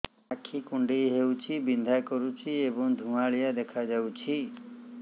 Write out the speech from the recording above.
ଆଖି କୁଂଡେଇ ହେଉଛି ବିଂଧା କରୁଛି ଏବଂ ଧୁଁଆଳିଆ ଦେଖାଯାଉଛି